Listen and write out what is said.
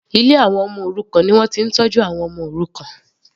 Ilé àwọn ọmọ òrukàn ni wọ́n ti ń tọ́jú àwọn ọmọ òrukàn.